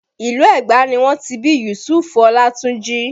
Ìlú Ẹgba ni wọ́n ti bí Yusufu Olatunji